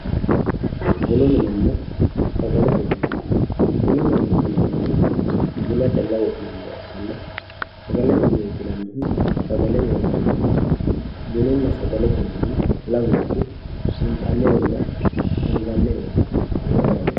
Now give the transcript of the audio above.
Bunu minenna sagalete mine ,bunu mineti yinannihu buna calla wodhinanniha ikkanna ,sagalete mineti yinannihu sagale worraniho bununna sagalete mini lamunku intanirenna anganirenna waa lawanore.